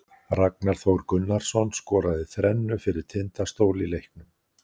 Ragnar Þór Gunnarsson skoraði þrennu fyrir Tindastól í leiknum.